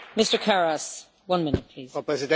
Frau Präsidentin, meine Damen und Herren!